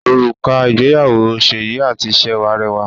Òrùka ìgbéyàwó Seyi àti Sewa rẹwà